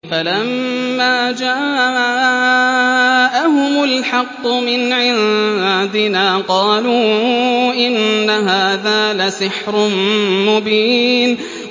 فَلَمَّا جَاءَهُمُ الْحَقُّ مِنْ عِندِنَا قَالُوا إِنَّ هَٰذَا لَسِحْرٌ مُّبِينٌ